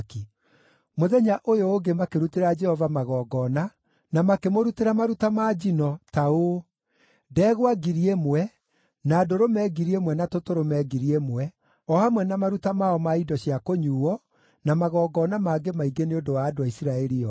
Mũthenya ũyũ ũngĩ makĩrutĩra Jehova magongona na makĩmũrutĩra maruta ma njino, ta ũũ: ndegwa ngiri ĩmwe, na ndũrũme ngiri ĩmwe na tũtũrũme ngiri ĩmwe, o hamwe na maruta mao ma indo cia kũnyuuo na magongona mangĩ maingĩ nĩ ũndũ wa andũ a Isiraeli othe.